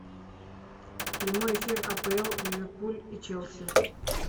прямой эфир апл ливерпуль и челси